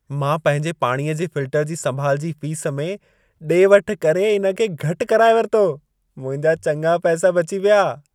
मां पंहिंजे पाणीअ जे फ़िल्टर जी संभालु जी फ़ीस में डे॒-वठि करे इन खे घटि कराए वरितो। मुंहिंजा चङा पैसा बची पिया।